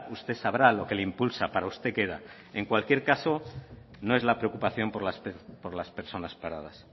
usted sabrá lo que le impulsa para usted queda en cualquier caso no es la preocupación por las personas paradas